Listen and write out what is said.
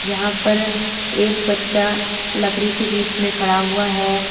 यहां पर एक बच्चा लकड़ी के बीच में खड़ा हुआ है।